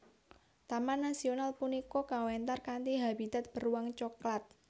Taman nasional punika kawéntar kanthi habitat beruang coklat